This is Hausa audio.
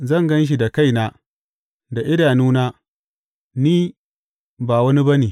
Zan gan shi da kaina da idanuna, Ni, ba wani ba ne.